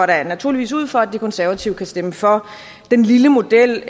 da naturligvis ud fra at de konservative kan stemme for den lille model